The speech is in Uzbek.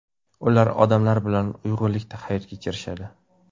Ular odamlar bilan uyg‘unlikda hayot kechirishadi.